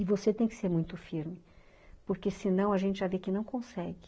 E você tem que ser muito firme, porque senão a gente já vê que não consegue.